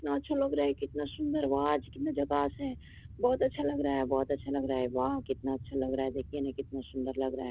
इतना अच्छा लग रहा है कितना सुंदर वाह आज कितना झकास है बहुत अच्छा लग रहा है बहुत अच्छा लग रहा है वाह कितना अच्छा लग रहा है देखिए न कितना सुंदर लग रहा है।